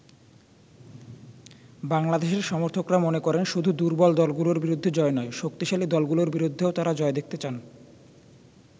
বাংলাদেশের সমর্থকরা মনে করেন, শুধু দুর্বল দলগুলোর বিরুদ্ধে জয় নয়, শক্তিশালী দলগুলোর বিরুদ্ধেও তারা জয় দেখতে চান।